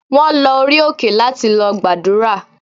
Wọ́n lọ orí òkè láti lọ gbàdúrà.